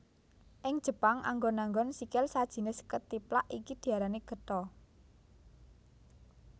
Ing Jepang anggon anggon sikil sajinis kethiplak iki diarani Geta